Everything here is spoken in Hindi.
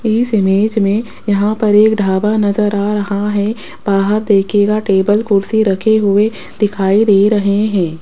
इस इमेज में यहां पर एक ढाबा नजर आ रहा है बाहर देखिएगा टेबल कुर्सी रखे हुए नजर आ रहे हैं।